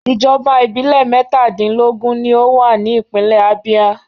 Ìjọba ìbílẹ̀ mẹ́tàdínlógún ni ó wà ní ìpínlè Abia.